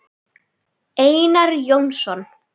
Einar Jónsson